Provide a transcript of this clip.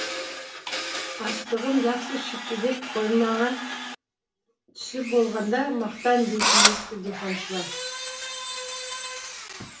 астығым жақсы шықты деп қоймаңа түсіп болғанда мақтан дейтін ескі диханшылар